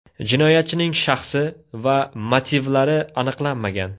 Jinoyatchining shaxsi va motivlari aniqlanmagan.